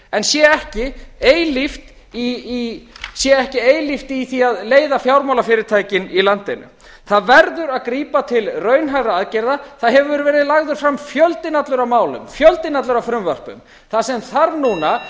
en sé ekki eilíft í því að leiða fjármálafyrirtækin í landinu það verður að grípa til raunhæfra aðgerða það hefur verið lagður fram fjöldinn allur af málum fjöldinn allur af frumvörpum það sem þarf núna